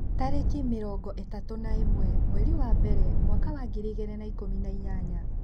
Tarĩki mĩrongo itatũna ĩmwe mweri wa mbere mwaka wa ngiri igĩrĩ na ikumi na inyanya.